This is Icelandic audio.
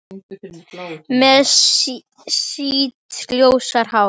Með sítt, ljóst hár.